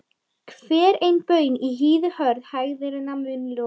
Hver ein baun í hýði hörð hægðirnar mun losa.